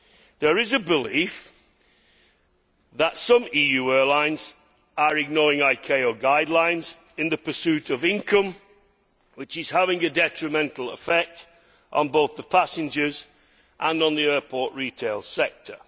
There is a belief that some EU airlines are ignoring IKO guidelines in the pursuit of income which is having a detrimental effect on both the passengers and on the airport retail sector.